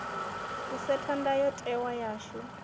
u setha ndayo tewa yashu